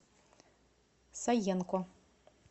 саенко